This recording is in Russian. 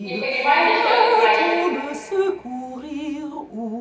не понимаете что это значит